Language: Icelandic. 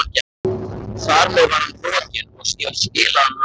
Þar með var hann rokinn, og ég skilaði honum aftur.